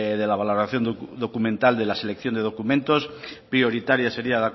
de la valoración documental de la selección de documentos prioritaria seria